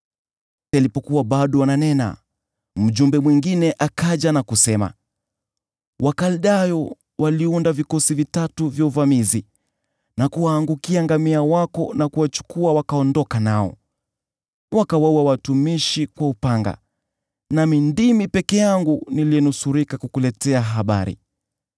Alipokuwa bado ananena, mjumbe mwingine akaja na kusema, “Wakaldayo waliunda vikosi vitatu vya uvamizi na kuwaangukia ngamia wako na kuwachukua wakaondoka nao. Wakawaua watumishi kwa upanga, nami ndimi peke yangu niliyenusurika kukuletea habari.”